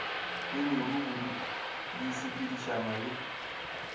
le lerumu di sepedišana le